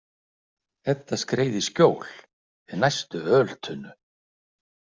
Edda skreið í skjól við næstu öltunnu.